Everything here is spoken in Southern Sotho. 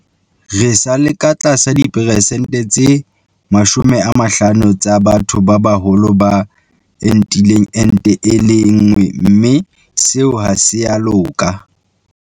Re sa le ka tlasa diperesente tse 50 tsa batho ba baholo ba entileng ente e le nngwe mme seo ha se a loka.